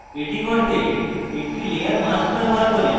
এটি করতে আমি একটি layer mask ব্যবহার করি